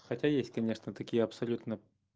хотя есть конечно такие абсолютно